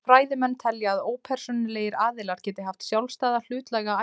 Þessir fræðimenn telja að ópersónulegir aðilar geti haft sjálfstæða hlutlæga æru.